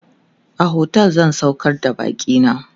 a otel zan saukar da bakina